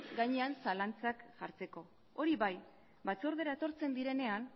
gainean zalantzak jartzeko hori bai batzordera etortzen direnean